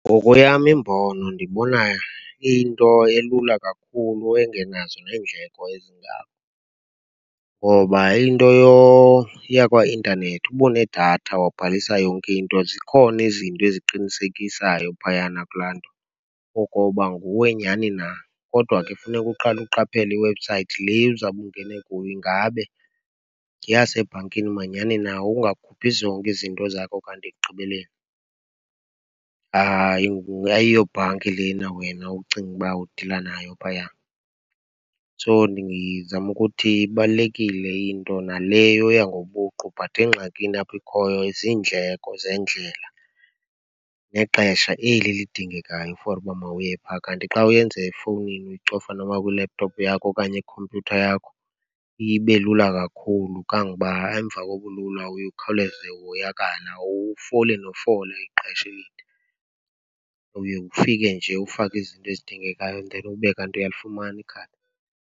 Ngokweyam imbono, ndibona iyinto elula kakhulu engenazo neendleko ezingako. Ngoba into yakwaintanethi, uba unedatha wabhalisa yonke into, zikhona izinto ezikuqinisekisayo phayana kulaa nto okoba nguwe nyhani na. Kodwa ke funeka uqale uqaphele iwebsayithi le uzawube ungene kuyo, ingabe yeyasebhankini manyhani na, ungakhuphi zonke izinto zakho kanti ekugqibeleni, hayi, ayiyobhanki lena wena ucinga uba idila nayo phaya. So, ndizama ukuthi ibalulekile into naleyo yoya ngobuqu, but engxakini apho ikhoyo, ziindleko zendlela nexesha eli lidingekayo for uba mawuye phaya. Kanti xa uyenze efowunini, uyicofa noba kwi-laptop yakho okanye kwikhompyutha yakho, iye ibe lula kakhulu. Kanguba, emva kobulula uye ukhawuleze uhoyakale, awufoli nofola ixesha elide. Uye ufike nje ufake izinto ezidingekayo and then ube kanti uyalifumana ikhadi.